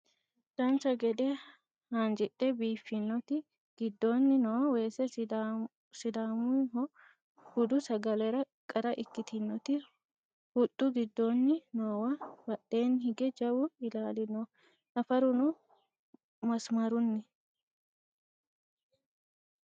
Dancha gede haanjidhe biiffinoti giddoonni noo weese sidaamaho budu sagalera qara ikkitinoti huxxu giddoonni noowa badheenni hige jawu ilaali no nafaruno masimarunni